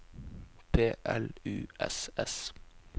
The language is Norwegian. P L U S S